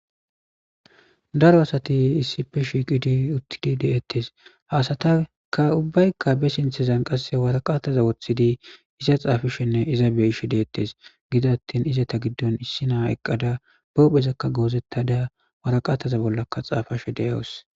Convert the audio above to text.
Daro asati issife shiiqidi uttidi deettes haasataka ubbaykka be sinthezan qasse waraqataza woththidi isa xaafishenne iza beishe deettes gida attin iza ta giddon issi naa eqqada boohphezakka goozettada waraqataza bollakka xaafashe deyawos.